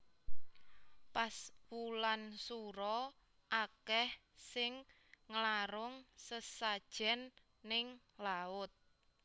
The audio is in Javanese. Pas wulan sura akeh sing nglarung sesajen ning laut